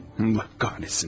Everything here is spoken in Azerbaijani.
Lənət olsun.